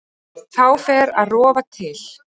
Þá fer að rofa til.